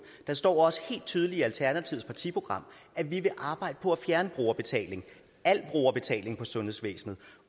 der står også helt tydeligt i alternativets partiprogram at vi vil arbejde på at fjerne brugerbetaling al brugerbetaling i sundhedsvæsenet